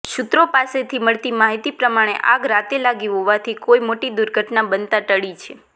સૂત્રો પાસેથી મળતી માહિતી પ્રમાણે આગ રાત્રે લાગી હોવાથી કોઇ મોટી દુર્ઘટના બનતા ટળી છે